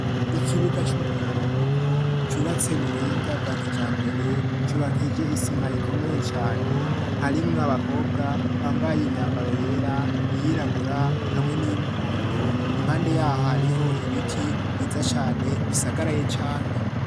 ikibuga c'umupira w'amaboko cubatswe mu buhinga bwa kijambere cubakije isima ikomeye cane harimwe abakobwa bambaye imyambaro yera iyirabura hamwe n'iyumuhondo impande yaho hariho ibiti biza cane bisagaraye cane